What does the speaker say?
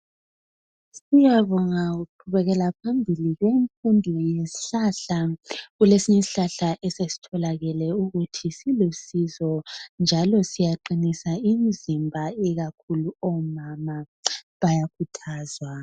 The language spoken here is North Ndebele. Kuyabongwa ukuqhubekela phambili kwemfundo yezihlahla, kulesinye ishlahla esesitholakele ukuthi silusizo njalo siyaqinisa imizimba ikakhulu omama bayakhuthazwa